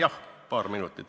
Jah, paar minutit.